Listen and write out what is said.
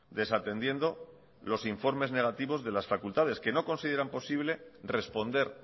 desatendiendo los informes negativos de las facultades que no consideran posible responder